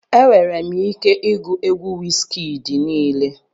Enwere m ike igwu egwu Wizkid niile